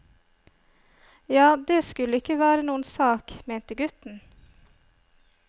Ja, det skulle ikke være noen sak, mente gutten.